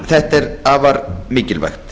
þetta er afar mikilvægt